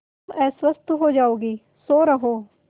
तुम अस्वस्थ हो जाओगी सो रहो